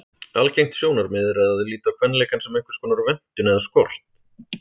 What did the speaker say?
Algengt sjónarmið er að líta á kvenleikann sem einhverskonar vöntun eða skort.